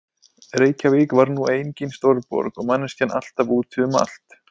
Reykjavík var nú engin stórborg og manneskjan alltaf úti um allt.